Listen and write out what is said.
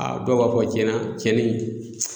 A dɔw b'a fɔ tiɲɛ na cɛnin in